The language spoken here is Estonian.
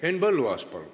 Henn Põlluaas, palun!